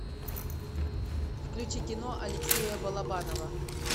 включи кино алексея балабанова